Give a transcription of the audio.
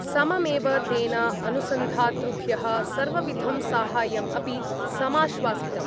सममेव तेन अनुसन्धातृभ्यः सर्वविधं साहाय्यम् अपि समाश्वासितम्